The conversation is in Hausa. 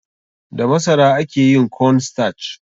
Da masara ake yin corn starch.